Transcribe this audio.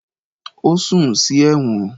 Ó sùn sí ẹ̀wọ̀n